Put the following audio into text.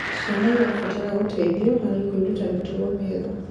Ciana irabatara gũteithio harĩ kwiruta mitugo miega